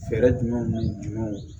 Fɛɛrɛ jumɛnw jumɛnw